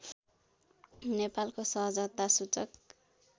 नेपालको सहजता सूचक